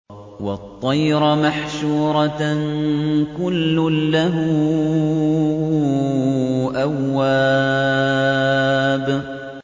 وَالطَّيْرَ مَحْشُورَةً ۖ كُلٌّ لَّهُ أَوَّابٌ